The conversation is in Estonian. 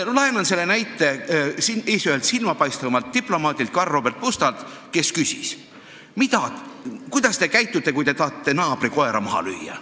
Laenan selle näite silmapaistvalt Eesti diplomaadilt Karl Robert Pustalt, kes küsis: "Kuidas te käitute, kui te tahate naabri koera maha lüüa?